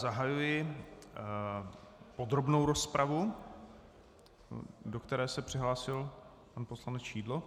Zahajuji podrobnou rozpravu, do které se přihlásil pan poslanec Šidlo.